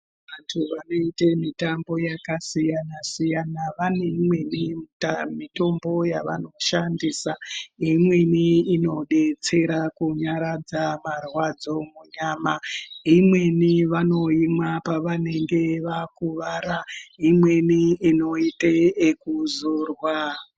Vanthu vanoite mitambo yakasiyana-siyana, vane imweni mitombo yevanoshandisa, imweni inodetsera kunyaradza marwadzo munyama, imweni vanoimwa pevanenge vave kurara, imweni inoita ekuzorwa.